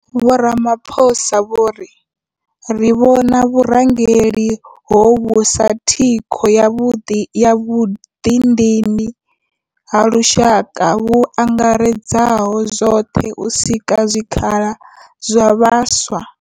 Vho Ramaphosa vho ri. Ri vhona vhurangeli hovhu sa thikho ya vhuḓidini ha lushaka vhu angaredzaho zwoṱhe u sika zwikhala zwa vhaswa.